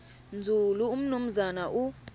nzulu umnumzana u